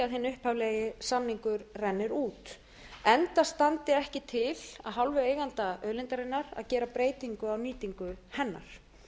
upphaflegi samningur rennur út enda standi ekki til af hálfu eiganda auðlindarinnar að gera breytingar á nýtingu hennar